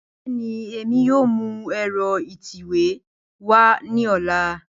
Bẹẹni, Emi yoo mu ẹ́rọ ítẹ́wé wa ni ọla.